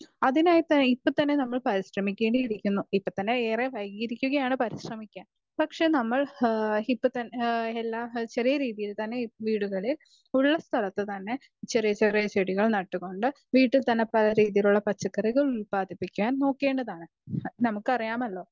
speaker 2 അതിനായിട്ട് ഇപ്പൊ തന്നെ പരിശ്രമിക്കേണ്ടിയിരിക്കുന്നു ഇപ്പൊ തന്നെ വയ്ക്കിരിക്കുകയാണ് പരിശ്രമിക്കാൻ പക്ഷെ നമ്മൾ ചെറിയ രീതിയിൽ തന്നെ വീടുകളിൽ ഉള്ള സ്ഥലത്ത് തന്നെ ചെറിയ ചെറിയ ചെടികൾ നട്ടുകൊണ്ട് വീട്ടിൽ തന്നെ പല രീതിയിലുള്ള പച്ചക്കറികൾ ഉത്പാദിപ്പിക്കാൻ നോക്കേണ്ടതാണ് നമ്മക്കറിയാമല്ലോ